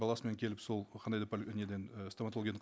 баласымен келіп сол қандай да неден і стоматологиядан